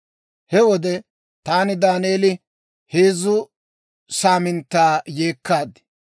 He wode taani, Daaneeli, heezzu saaminttaa yeekkaad.